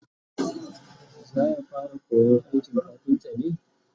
zaya fara koyan aikin kafinta ne?